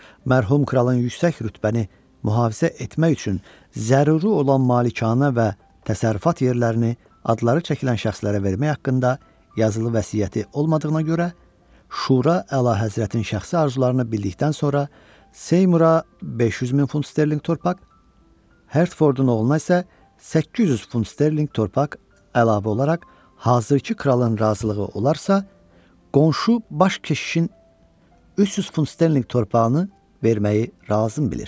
Mərhum kralın yüksək rütbəni mühafizə etmək üçün zəruri olan malikanə və təsərrüfat yerlərini adları çəkilən şəxslərə vermək haqqında yazılı vəsiyyəti olmadığına görə şura əlahəzrətin şəxsi arzularını bildikdən sonra Seymura 500 min funt sterlinq torpaq, Hertfordun oğluna isə 800 funt sterlinq torpaq əlavə olaraq hazırkı kralın razılığı olarsa qonşu baş keşişin 300 funt sterlinq torpağını verməyi lazım bilir.